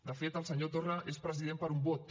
de fet el senyor torra és president per un vot